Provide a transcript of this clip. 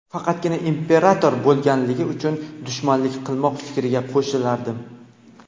faqatgina imperator bo‘lganligi uchun dushmanlik qilmoq fikriga qo‘shilardim.